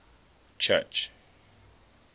church